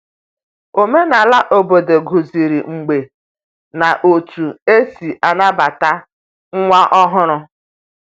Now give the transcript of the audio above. Omenala obodo duziri mgbe na otú e si anabata nwa ọhụrụ.